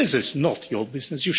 This is not your business.